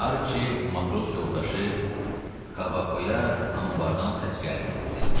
Arçi, matros yoldaşı Kabakoya anbardandan səs gəldiyini dedi.